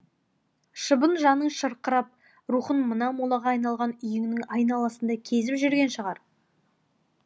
шыбын жаның шырқырап рухың мына молаға айналған үйіңнің айналасында кезіп жүрген шығар